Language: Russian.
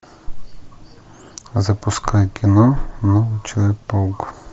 запускай кино новый человек паук